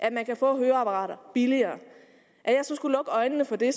at man kan få høreapparater billigere skulle lukke øjnene for det